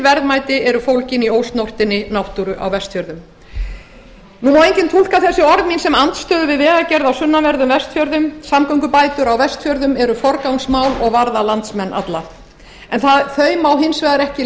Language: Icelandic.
verðmæti eru fólgin í ósnortinni náttúru á vestfjörðum nú má enginn túlka þessi orð mín sem andstöðu við vegagerð á sunnanverðum vestfjörðum samgöngubætur á vestfjörðum eru forgangsmál og varða landsmenn alla en þau má hins vegar ekki